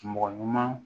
Mɔgɔ ɲuman